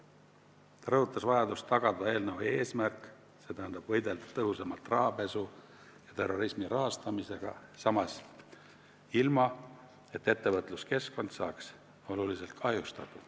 Ta rõhutas vajadust tagada eelnõu eesmärk, st võidelda tõhusamalt rahapesu ja terrorismi rahastamisega, samas ilma ettevõtluskeskkonda oluliselt kahjustamata.